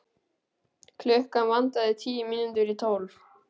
Klukkuna vantaði tíu mínútur í tólf.